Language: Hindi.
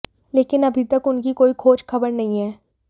लेकिन अभी तक उनकी कोई खोज खबर नहीं है